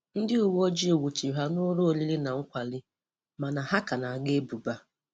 Ndị uweojii nwuchiri ha nụlọ oriri na nkwárì mana ha ka na-agọ ebubo a.